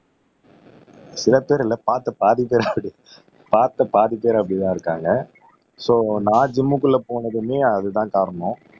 சில பேர் இல்ல பார்த்த பாதி பேருக்கு பார்த்த பாதி பேர் அப்படிதான் இருக்காங்க சோ நான் ஜிம்முக்குள்ள போனதுமே அதுதான் காரணம்